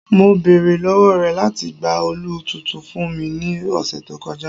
Mo beere lọwọ rẹ lati gba òòlù tuntun fun mi ni ọsẹ to kọja